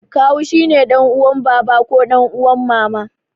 Kawu shine ɗan uwan baba ko ɗan uwan mama.